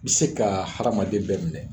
Bɛ se ka hadamaden bɛɛ minɛ.